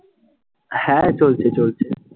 হ্যাঁ, চলছে চলছে।